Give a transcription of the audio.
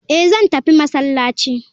Eh zan tafi masallaci.